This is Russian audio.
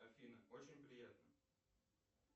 афина очень приятно